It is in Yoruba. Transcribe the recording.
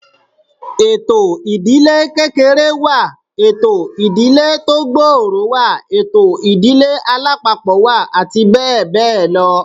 Ètò ìdílé kékeré wà, ètò ìdílé tó gbòòrò wà, ètò ìdílé alápapọ̀ wà àti bẹ́ẹ̀ bẹ́ẹ̀ lọ